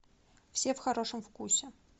все в хорошем вкусе